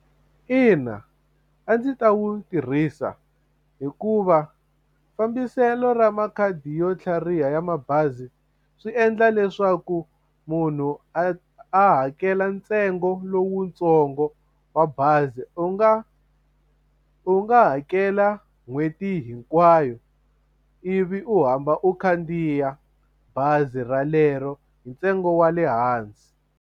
Ina a ndzi ta wu tirhisa hikuva fambiselo ra makhadi yo tlhariha ya mabazi swi endla leswaku munhu a a hakela ntsengo lowutsongo wa bazi u nga u nga hakela n'hweti hinkwayo ivi u hamba u khandziya bazi ralero hi ntsengo wa le hansi.